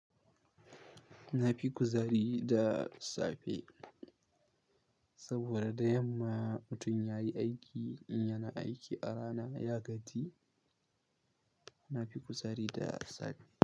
Na fi kuzari da safe saboda da yamma mutum ya yi aiki in yana aiki a rana ya gaji. Na fi kuzari da safe.